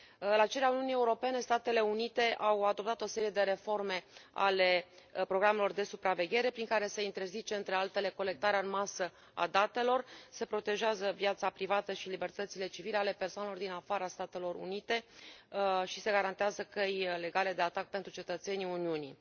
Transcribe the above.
La cererea Uniunii Europene, Statele Unite au adoptat o serie de reforme ale programelor de supraveghere prin care se interzice, între altele, colectarea în masă a datelor, se protejează viața privată și libertățile civile ale persoanelor din afara Statelor Unite și se garantează căi legale de atac pentru cetățenii Uniunii.